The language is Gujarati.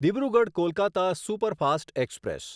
Dibrugarh Kolkata superfast express